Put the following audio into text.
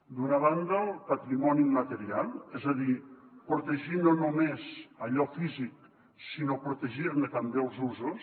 d’una banda el patrimoni immaterial és a dir protegir no només allò físic sinó protegir ne també els usos